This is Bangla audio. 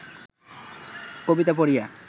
কবিতা পড়িয়া